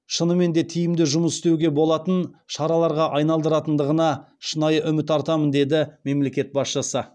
шынымен де тиімді жұмыс істеуге болатын шараларға айналдыратындығына шынайы үміт артамын деді мемлекет басшысы